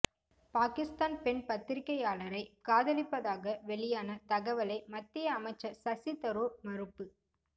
பாகிஸ்தான் பெண் பத்திரிகையாளரை காதலிப்பதாக வெளியான தகவலை மத்திய அமைச்சர் சசி தரூர் மறுப்பு